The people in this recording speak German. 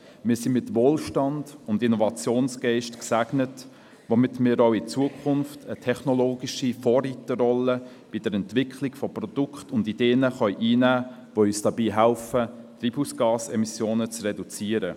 Wir sind mit Wohlstand und Innovationsgeist gesegnet, womit wir auch in Zukunft eine technologische Vorreiterrolle bei der Entwicklung von Produkten und Ideen einnehmen können, die uns dabei helfen, die Treibhausgasemissionen zu reduzieren.